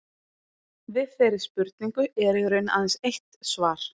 Við þeirri spurningu er í raun aðeins eitt svar.